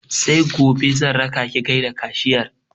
Sai gobe zan raka ki gaida kashiyar